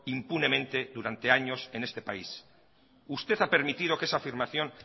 impunemente durante años en este país usted ha permitido que esta afirmación